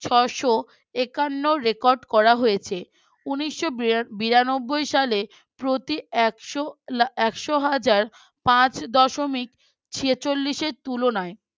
ছশ একন্ন record করা হয়েছে উনিশ বিরা বিরানবাই সালে প্রতি একশো একশো হাজার পাঁচ দশমিক ছেচল্লিশ এর তুলনায়